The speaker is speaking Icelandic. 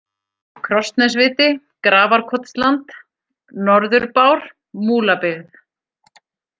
Krossnesviti, Grafarkotsland, Norður-Bár, Múlabyggð